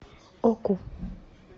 оку